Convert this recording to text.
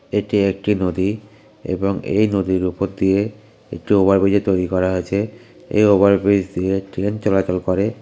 এটি একটি নদী এবং এই নদীর উপর দিয়ে একটি ওভার ব্রিজ তৈরি করা আছে এই ওভার ব্রিজ দিয়ে ট্রেন চলাচল করে ।